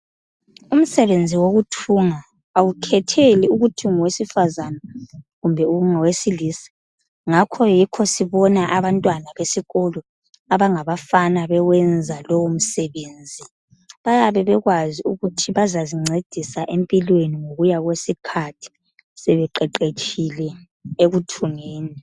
Umsebenzi wokuthunga awukhetheli ukuthi ungowesifazana kumbe ungowesilisa, ngakho yikho sibona abantwana besikolo abangabafana bewenza lowo msebenzi. Bayabe bekwazi ukuthi bazazincedisa empilweni ngokuya kwesikhathi sebeqeqetshile ekuthungeni.